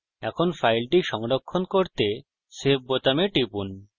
এখন file সংরক্ষণ করতে save বোতামে টিপুন